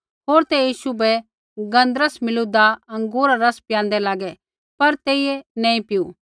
होर ते यीशु बै गन्धरस मिलूदा अँगूरा रा रस पियांदे लागे पर तेइयै नैंई पिऊ